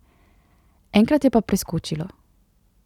Enkrat je pa preskočilo.